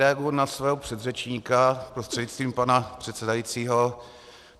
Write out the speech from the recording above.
Reaguji na svého předřečníka prostřednictvím pana předsedajícího.